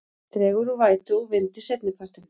Dregur úr vætu og vindi seinnipartinn